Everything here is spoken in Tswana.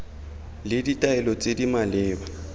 le ditaelo tse di maleba